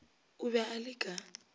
o be a le ka